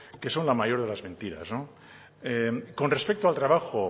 que son la mayor de las mentiras con respecto al trabajo